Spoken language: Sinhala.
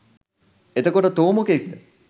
එතකොට තෝ මොකෙක්ද?